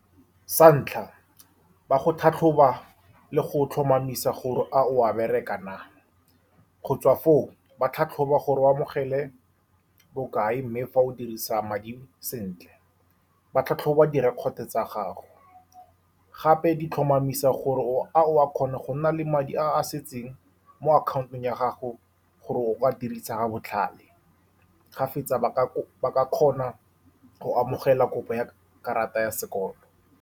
Sa ntlha, ba go tlhatlhoba le go tlhomamisa gore a o a berekang na. Go tswa foo, ba tlhatlhoba gore o amogela bokae, mme fa o dirisa madi sentle, ba tlhatlhoba direkoto tsa gago, gape di tlhomamisa gore o a, a o a kgona go nna le madi a setseng mo account-ong ya gago, gore o ka a dirisa ka botlhale. Ga fetsa, ba ka kgona go amogela kopo ya karata ya sekolo.